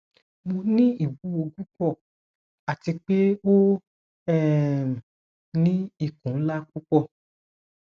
mo ni iwuwo pupọ ati pe o um ni ikun nla pupọ